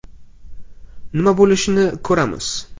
“Nima bo‘lishini ko‘ramiz.